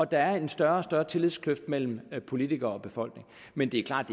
der er større og større tillidskløft mellem politikere og befolkning men det er klart